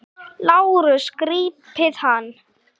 LÁRUS: Grípið hann!